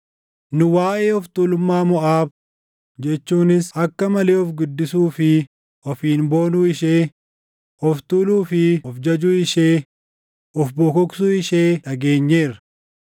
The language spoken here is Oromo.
“Nu waaʼee of tuulummaa Moʼaab jechuunis akka malee of guddisuu fi ofiin boonuu ishee, of tuuluu fi of jajuu ishee, of bokoksuu ishee dhageenyeerra.